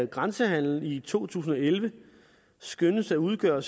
grænsehandelen i to tusind og elleve skønnes at udgøre